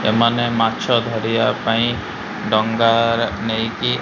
ସେମାନେ ମାଛ ଧରିବା ପାଇଁ ଡ଼ଙ୍ଗା ନେଇକି --